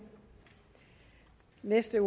vil se